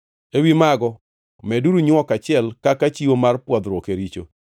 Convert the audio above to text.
Ewi mago meduru nywok achiel kaka chiwo mar pwodhruok e richo.